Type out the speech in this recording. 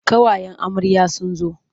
Ƙawayen amarya sun zo.